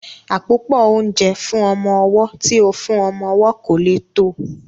Àpòpọ́ oúnjẹ fún ọmọ ọwọ́ tí ó fún ọmọ owó kò lè tó